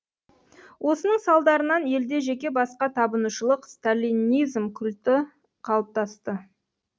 осының салдарынан елде жеке басқа табынушылық сталинизм культі қалыптасты